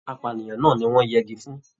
Apànìyàn náà ní wọn yẹgi fún.